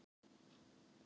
Já, sagði röddin ákveðin.